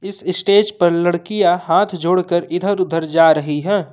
इस स्टेज पर लड़कियां हाथ जोड़कर इधर उधर जा रही हैं।